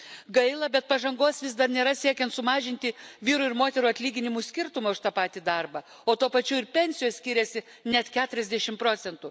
Gaila, bet pažangos vis dar nėra siekiant sumažinti vyrų ir moterų atlyginimų skirtumą už tą patį darbą, o tuo pačiu ir pensijos skiriasi net keturiasdešimt procentų.